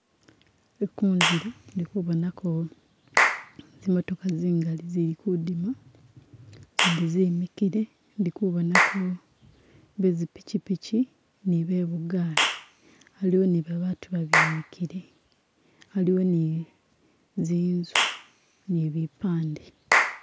Ku'kuzile indi kubonako zimotoka zingali zili kudima, zindi zimikile, indi kubonako be zi piki-piki ni be bugali, haliwo ni babantu babimikile, haliwo ni zinzu ni bipande